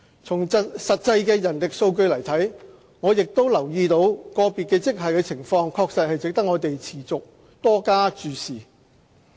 從實際的人力數據來看，我亦留意到個別職系的情況確實值得我們持續多加注視。